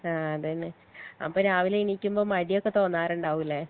ആ അതെ ലെ അപ്പൊ രാവിലെ എണീക്കുമ്പോ മടിയൊക്കെ തോണാറുണ്ടോവും ലെ